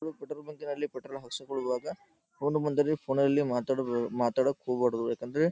ನೀವು ಪೆಟ್ರೋಲ್ ಬಂಕ್ನಲ್ಲಿ ಪೆಟ್ರೋಲ್ ಹಾಕಿಸ್ಕೊಳ್ಳೋವಾಗ ಫೋನ್ ಬಂದಾಗ ಫೋನ್ನಲ್ಲಿ ಮಾತಾಡೋಕೆ ಹೋಗಬಾರದು ಯಾಕಂದರೆ ---